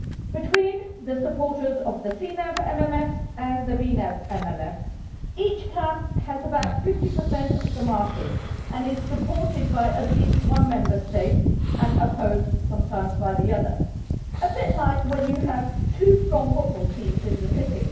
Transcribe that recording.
Between the supporters of the CNAV MFF and the VNAV MFF, each camp has about 50 of the market, and is supported by at least one Member State and opposed sometimes by another a bit like when you have two strong football teams in one city.